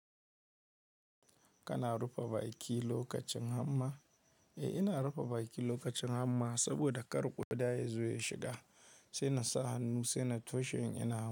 Kana rufe baki lokacin hamma? Eh ina rufe baki lokacin hamma saboda kar ƙuda ya zo ya shiga, sai na sa hannu, sai na toshe in ina ham.